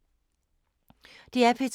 DR P2